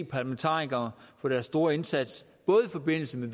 parlamentarikere for deres store indsats både i forbindelse med